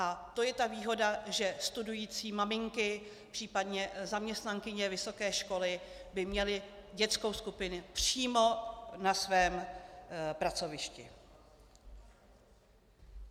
A to je ta výhoda, že studující maminky, případně zaměstnankyně vysoké školy, by měly dětskou skupinu přímo na svém pracovišti.